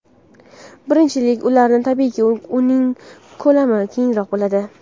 Birinchilar uchun, tabiiyki, uning ko‘lami kengroq bo‘ladi.